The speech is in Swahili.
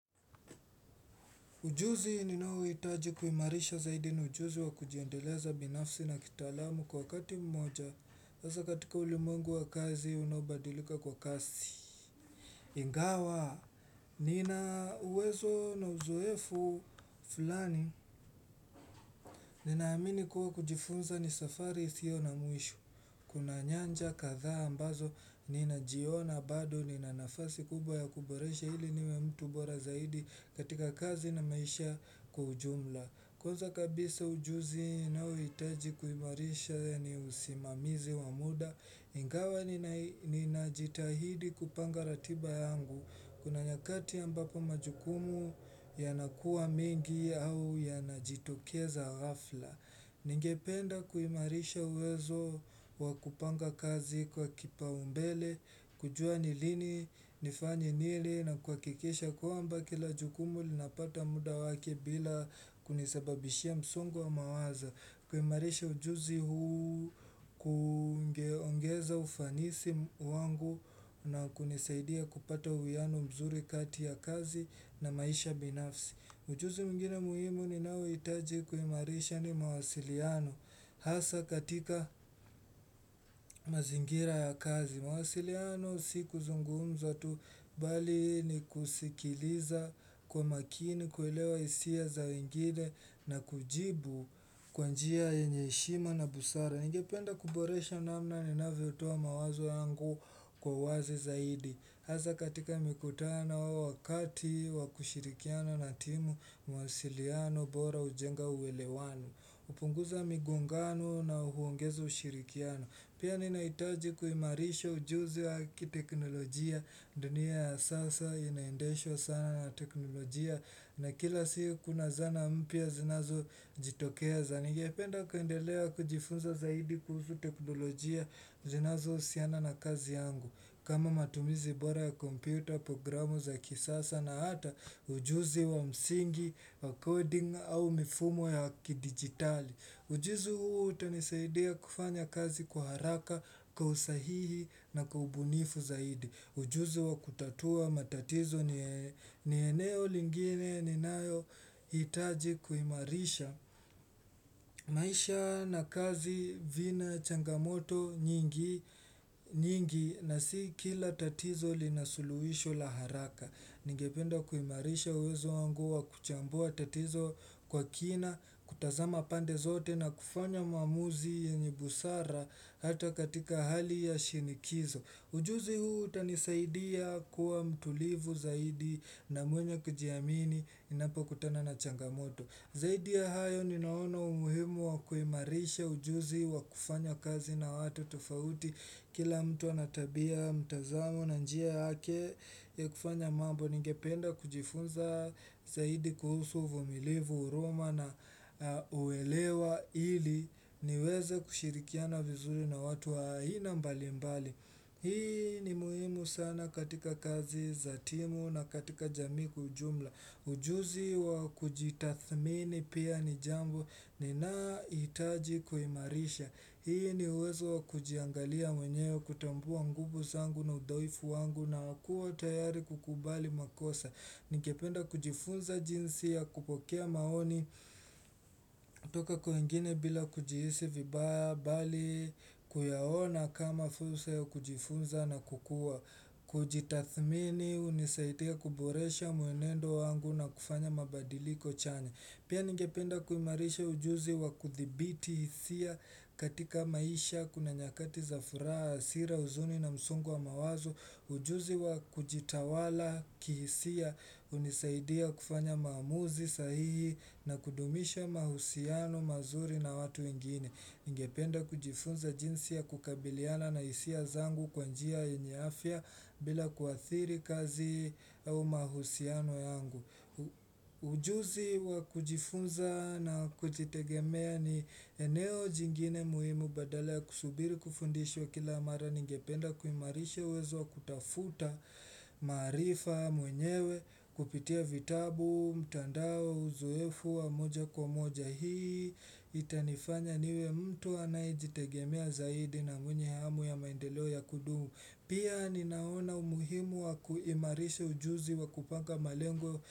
Ujuzi ninao itaji kuimarisha zaidi ni ujuzi wa kujiendeleza binafsi na kitaalamu kwa wakati mmoja. Hasa katika ulimwengu wa kazi unaobadilika kwa kasi. Ingawa, nina uwezo na uzoefu fulani. Ninaamini kuwa kujifunza ni safari isiyo na mwisho. Kuna nyanja kadhaa ambazo, nina jiona bado, nina nafasi kubwa ya kuboresha hili niwe mtu bora zaidi katika kazi na maisha kwa ujumla. Kwanza kabisa ujuzi ninaouitaji kuimarisha ni usimamizi wamuda Ingawa ni najitahidi kupanga ratiba yangu Kuna nyakati ambapo majukumu ya nakuwa mengi au ya najitokeza hafla Ningependa kuimarisha uwezo wa kupanga kazi kwa kipa umbele kujua nilini, nifanye nili na kuakikisha kwamba kila jukumu lina pata muda wake bila kunisababishia msungo wa mawazo kuimarisha ujuzi huu kuongeza ufanisi wangu na kunisaidia kupata uwiano mzuri kati ya kazi na maisha binafsi ujuzi mwingine muhimu ninaou itaji kuimarisha ni mawasiliano hasa katika mazingira ya kazi mawasiliano si kuzungumza tu bali ni kusikiliza Kwa makini kuelewa isia za wengine na kujibu kwanjia yenye heshima na busara ningependa kuboresha namna ninavyotoa mawazo yangu kwa uwazi zaidi Hasa katika mikutano wakati wakushirikiana na timu mawasiliano bora ujenga uwelewano Upunguza migongano na huongeza ushirikiano Pia ninaitaji kuimarisha ujuzi wa haki teknolojia dunia ya sasa inaendeshwa sana na teknolojia na kila siku kuna zana mpya zinazo jitokea zani. Ningependa kuendelea kujifunza zaidi kuhusu teknolojia zinazo usiana na kazi yangu. Kama matumizi bora ya kompyuta, programu za kisasa na hata ujuzi wa msingi, wa coding au mifumo ya ki digitali. Ujuzi huu utanisaidia kufanya kazi kwa haraka kwa usahihi na kwa ubunifu zaidi. Ujuzi wa kutatua matatizo ni eneo lingine ni nayo itaji kuimarisha. Maisha na kazi vina changamoto nyingi na si kila tatizo linasuluisho laharaka. Ningependa kuimarisha uwezo wangu wa kuchambua tatizo kwa kina, kutazama pande zote na kufanya maamuzi yenye busara hata katika hali ya shinikizo. Ujuzi huu utanisaidia kuwa mtulivu zaidi na mwenye kujiamini ninapo kutana na changamoto. Zaidi ya hayo ninaona umuhimu wa kuimarisha ujuzi wa kufanya kazi na watu tofauti kila mtu anatabia mtazamo na njia yake ya kufanya mambo ningependa kujifunza zaidi kuhusu uvumilivu uruma na uelewa ili niweze kushirikiana vizuri na watu wa aina mbali mbali. Hii ni muhimu sana katika kazi za timu na katika jamii kwa ujumla Ujuzi wa kujitathmini pia ni jambo ni na itaji kuimarisha Hii ni uwezo wa kujiangalia mwenyewe kutambua nguvu zangu na udhaifu wangu na kuwa tayari kukubali makosa Ningependa kujifunza jinsi ya kupokea maoni toka kwingine bila kujihisi vibaya bali kuyahona kama fursa ya kujifunza na kukua. Kujitathmini unisaidia kuboresha mwenendo wangu na kufanya mabadiliko chanya. Pia ningependa kuimarisha ujuzi wa kuthibiti isia katika maisha kuna nyakati za furaha asira uzuni na msungo wa mawazo. Ujuzi wa kujitawala kihisia unisaidia kufanya maamuzi sahihi na kudumisha mahusiano mazuri na watu wengine. Ningependa kujifunza jinsi ya kukabiliana na isia zangu kwa njia yenye afya bila kuathiri kazi au mahusiano yangu. Ujuzi wa kujifunza na kujitegemea ni eneo jingine muhimu badala ya kusubiri kufundishwa kila mara. Ningependa kuimarisha uwezo wa kutafuta maarifa mwenyewe kupitia vitabu mtandao uzoefu wa moja kwa moja hii Itanifanya niwe mtu anayejitegemea zaidi na mwenye hamu ya maendeleo ya kudumu Pia ninaona umuhimu wa kuimarisha ujuzi wa kupanga malengo.